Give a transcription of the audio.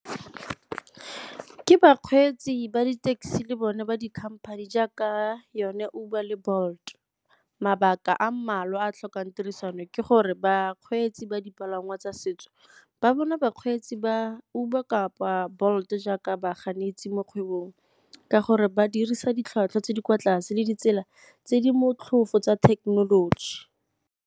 Ke bakgweetsi ba di-taxi le bone ba di-company jaaka yone Uber le Bolt. Mabaka a mmalwa a a tlhokang tirisano ke gore bakgweetsi ba dipalangwa tsa se setso ba bona bakgweetsi ba Uber kapa Bolt jaaka baganetsi mo kgwebong ka gore ba dirisa ditlhwatlhwa tse di kwa tlase le ditsela tse di motlhofo tsa thekenoloji.